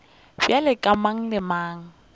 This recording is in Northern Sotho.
bjalo ka mang le mang